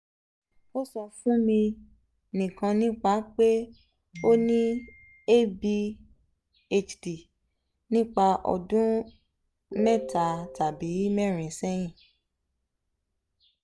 o sọ fun mi nikan nipa pe o ni adhd nipa ọdun meeta tabi meerin sẹhin